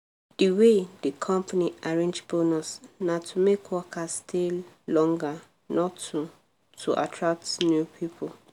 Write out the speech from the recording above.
the way the company arrange bonus na to make workers stay longer not to to attract new people.